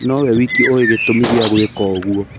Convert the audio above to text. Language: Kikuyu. No we wiki ũĩ gĩtũmi gĩa gwĩka ũguo.